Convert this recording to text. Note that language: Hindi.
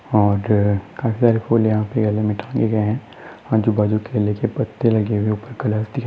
और आजूबाजू केले के पत्ते लगे हुये है उपर --